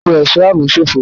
Ipò ẹ̀ṣọ́ ààbò ṣófo.